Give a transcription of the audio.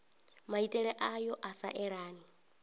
maitele ayo a sa elani